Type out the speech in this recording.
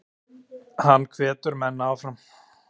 Hann hvetur menn áfram.